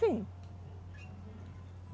Sim.